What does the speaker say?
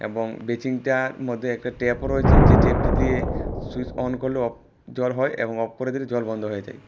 এবং বেচিনটার মধ্যে একটা ট্যাপও রয়েছে যেই ট্যাপটি দিয়ে সুইস অন করলে অফ জল হয় এবং অফ করে দিলে জল বন্ধ হয়ে যায়।